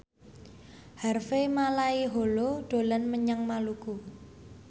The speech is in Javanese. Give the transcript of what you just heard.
Harvey Malaiholo dolan menyang Maluku